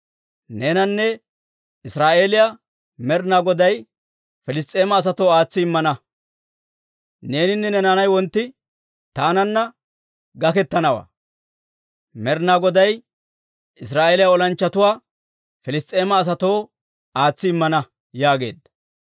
Neenanne Israa'eeliyaa, Med'inaa Goday Piliss's'eema asatoo aatsi immana; neeninne ne naanay wontti taanan gakettanaw; Med'inaa Goday Israa'eeliyaa olanchchatuwaa Piliss's'eema asatoo aatsi immana» yaageedda.